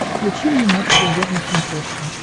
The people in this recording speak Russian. включи мне матч премьер на смотрешке